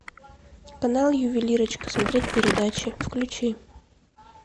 канал ювелирочка смотреть передачи включи